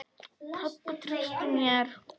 Pabbi treysti mér.